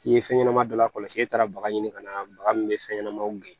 K'i ye fɛn ɲɛnɛma dɔ lakɔlɔsi e taara baga ɲini ka na baga min bɛ fɛn ɲɛnɛmaw gɛn